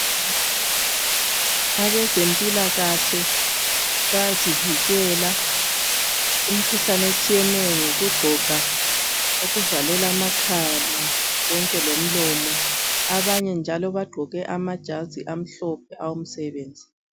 Abezempilakahle bayasivikela kumkhuhlane etshiyeneyo ngokugqoka okuvalela amakhala konke lomlomo abanye njalo bagqoke amajazi amhlophe awomsebenzi.